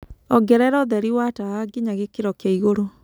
Ongerera ũtherĩ wa tawa ngĩnya gĩkĩro kĩa ĩgũrũ